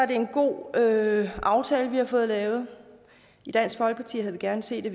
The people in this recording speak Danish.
det en god aftale vi har fået lavet i dansk folkeparti havde vi gerne set at